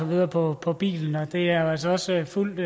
videre på på bilen det er jo altså også fuldt